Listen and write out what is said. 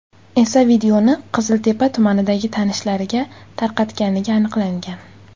esa videoni Qiziltepa tumanidagi tanishlariga tarqatganligi aniqlangan.